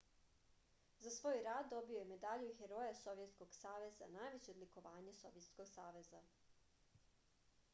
za svoj rad dobio je medalju heroja sovjetskog saveza najveće odlikovanje sovjetskog saveza